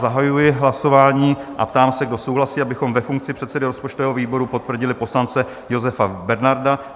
Zahajuji hlasování a ptám se, kdo souhlasí, abychom ve funkci předsedy rozpočtového výboru potvrdili poslance Josefa Bernarda?